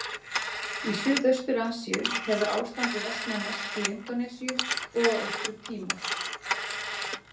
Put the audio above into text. Í Suðaustur-Asíu hefur ástandið versnað mest í Indónesíu og á Austur-Tímor.